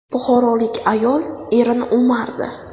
Buxorolik ayol erini o‘mardi.